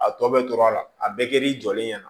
A tɔ bɛ tora a la a bɛɛ kɛl'i jɔlen ɲɛna